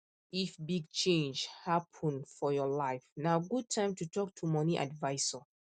if big change happen for your life na good time to talk to money advisor